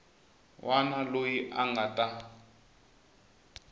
wana loyi a nga ta